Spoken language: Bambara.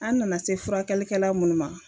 An nana se furakɛlikɛla mun ma